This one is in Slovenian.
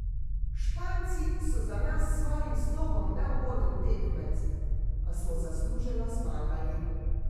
Španci so za nas s svojim slogom neugoden tekmec, a smo zasluženo zmagali.